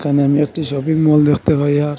এখানে আমি একটি শপিং মল দেখতে পাইয়া।